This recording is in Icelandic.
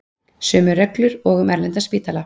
Sömu reglur og um erlenda spítala